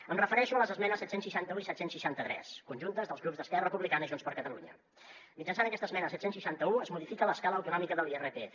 em refereixo a les esmenes set cents i seixanta un i set cents i seixanta tres conjuntes dels grups d’esquerra republicana i junts per catalunya mitjançant aquesta esmena set cents i seixanta un es modifica l’escala autonòmica de l’irpf